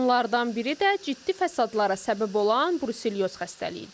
Onlardan biri də ciddi fəsadlara səbəb olan bruselyoz xəstəliyidir.